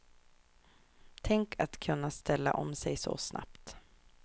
Tänk att kunna ställa om sig så snabbt.